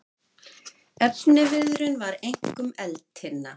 Efniviðurinn var einkum eldtinna.